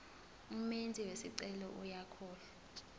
umenzi wesicelo uyahlolwa